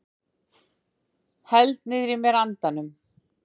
Held niðrí mér andanum.